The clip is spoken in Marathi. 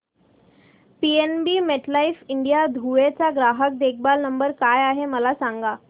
पीएनबी मेटलाइफ इंडिया धुळे चा ग्राहक देखभाल नंबर काय आहे मला सांगा